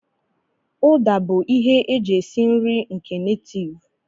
Uda bụ ihe e ji esi nri nke netiiv.